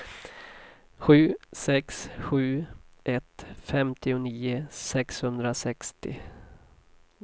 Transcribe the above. sju sex sju ett femtionio sexhundrasextio